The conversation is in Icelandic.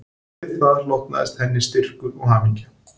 Við það hlotnaðist henni styrkur og hamingja